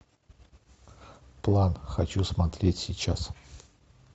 план хочу смотреть сейчас